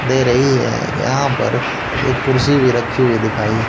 दे रही है यहां पर एक कुर्सी भी रखी हुई दिखाई--